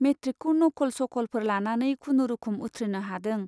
मेट्रिकखौ नक'ल सक'लफोर लानानै खुनुरुखुम उथ्रिनो हादों।